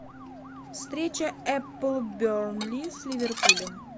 встреча апл бернли с ливерпулем